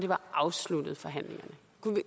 var afsluttet